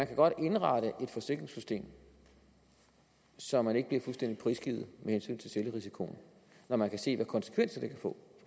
kan godt indrette et forsikringssystem så man ikke bliver fuldstændig prisgivet med hensyn til selvrisikoen når man kan se hvilke konsekvenser det kan få